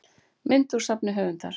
mynd úr safni höfundar